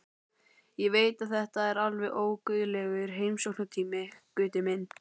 Ég veit að þetta er alveg óguðlegur heimsóknartími, Gutti minn.